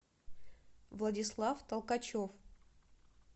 владислав толкачев